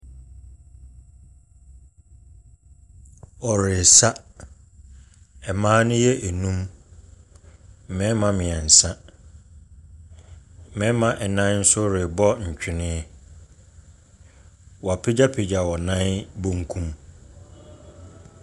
Wɔresa, mmaa ne yɛ nnum, mmarima mmiɛnsa, mmarima nnan nso rebɔ ntwene. Wɔapagyapagya wɔn nan bankum.